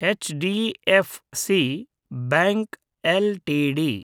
HDFC bank LTD